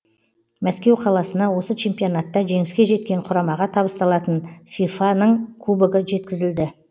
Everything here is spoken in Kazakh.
мәскеу қаласына осы чемпионатта жеңіске жеткен құрамаға табысталатын фифа ның кубогы жеткізілді